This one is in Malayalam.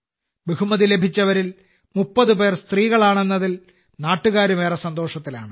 ബഹുമതി ലഭിച്ചവരിൽ 30 പേർ സ്ത്രീകളാണെന്നതിൽ നാട്ടുകാരും ഏറെ സന്തോഷത്തിലാണ്